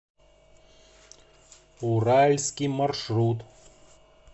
уральский маршрут